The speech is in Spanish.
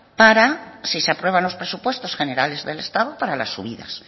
para si se aprueba los presupuestos generales del estado para la subidas